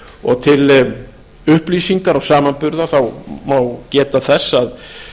og til upplýsingar og samanburðar má geta þess að